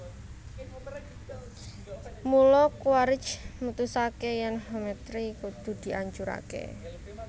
Mula Quaritch mutusaké yèn Hometree kudu diancuraké